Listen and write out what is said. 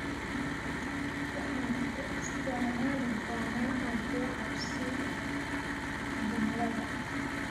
Waxaan u isticmaali doonaa aje cabsi jumlada